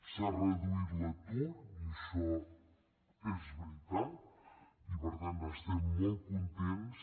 s’ha reduït l’atur i això és veritat i per tant n’estem molt contents